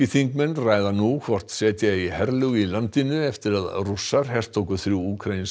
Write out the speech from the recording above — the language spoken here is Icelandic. þingmenn ræða nú hvort setja eigi herlög í landinu eftir að Rússar hertóku þrjú úkraínsk